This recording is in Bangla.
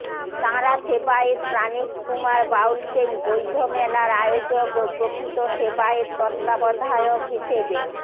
তাঁরা সেবায়েত প্রাণেশ কুমার বাউলকেই বৈধ মেলার আয়োজক ও প্রকৃত সেবায়েত তত্ত্বাবধায়ক হিসেবে